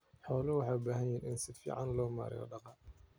Xooluhu waxay u baahan yihiin in si fiican loo maareeyo daaqa.